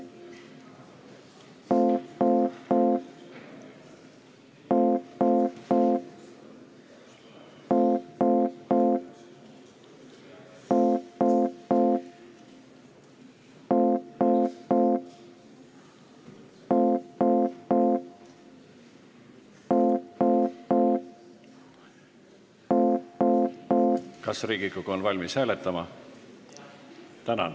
Tänan!